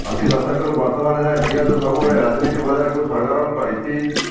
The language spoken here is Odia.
ଅଶୀ ଦଶକରୁ ବର୍ତ୍ତମାନ ଯାଏଁ ପିଆଜ ସବୁବେଳେ ରାଜନୀତି ବଜାରକୁ ସରଗରମ କରିଛି